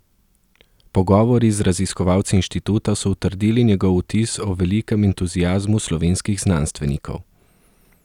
Pogovori z raziskovalci inštituta so utrdili njegov vtis o velikem entuziazmu slovenskih znanstvenikov.